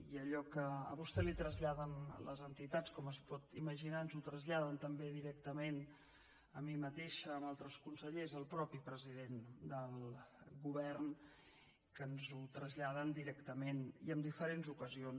i allò que a vostè li traslladen les entitats com es pot imaginar ens ho traslladen també directament a mi mateixa a altres consellers al mateix president del govern que ens ho traslladen directament i en diferents ocasions